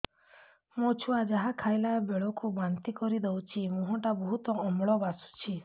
ମୋ ଛୁଆ ଯାହା ଖାଇଲା ବେଳକୁ ବାନ୍ତି କରିଦଉଛି ମୁହଁ ଟା ବହୁତ ଅମ୍ଳ ବାସୁଛି